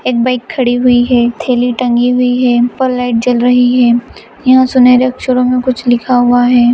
एक बाइक खड़ी हुई है थैली टंगी हुई है ऊपर लाइट जल रही हैयहा सुनहरे अक्षरों में कुछ लिखा हुआ है।